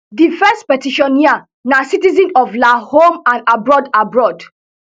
di first petitioner na citizens of la home and abroad abroad